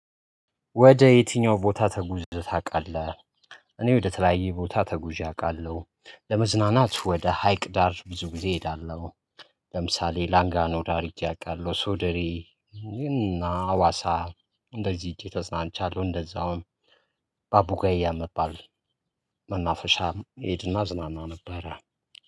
ወደ የትኛው ቦታ ተጉዘ ታውቃለህ? እኔ ወደ ተለያየ ቦታ ተጉዤ አውቃለሁ። ለመዝናናት ወደ ሀይቅ ዳር ብዙ ጊዜ እሄዳለሁ። ለምሳሌ ላንጋኖ ዳር ሄጄ እውቃለሁ ሶደሬ። እና አዋሳ እንደዚህ ሄጄ ተዝናንቻለሁ። እንደዛውም በአቡጋያ የሚባል መናፈሻ እሄድና እዝናና ነበረ